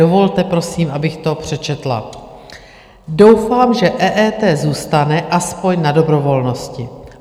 Dovolte, prosím, abych to přečetla: "Doufám, že EET zůstane aspoň na dobrovolnosti.